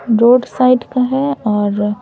road side का हैं और--